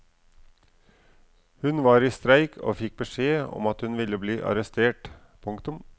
Hun var i streik og fikk beskjed om at hun ville bli arrestert. punktum